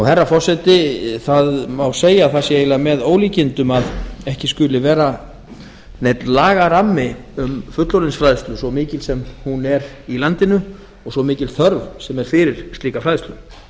herra forseti það má segja að það sé eiginlega með ólíkindum að ekki skuli vera neinn lagarammi um fullorðinsfræðsla svo mikil sem hún er í landinu og svo mikil þörf sem er fyrir slíka fræðslu